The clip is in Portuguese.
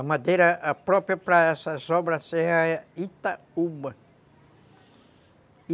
A madeira própria para essas obras era Itaúba.